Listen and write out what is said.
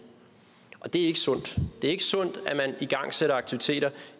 og det er ikke sundt det er ikke sundt at man igangsætter aktiviteter